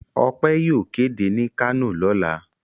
Ọpẹ́ yóò kéde ní Kano lọ́la.